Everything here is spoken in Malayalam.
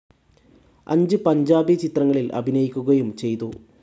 അഞ്ച് പഞ്ചാബി ചിത്രങ്ങളിൽ അഭിനയിക്കുകയും ചെയ്തു.